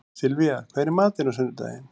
Sylvía, hvað er í matinn á sunnudaginn?